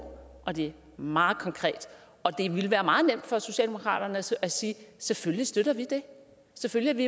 og det er meget konkret og det ville være meget nemt for socialdemokratiet at sige selvfølgelig støtter vi det selvfølgelig